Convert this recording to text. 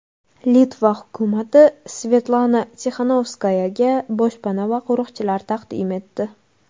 Litva hukumati Svetlana Tixanovskayaga boshpana va qo‘riqchilar taqdim etdi.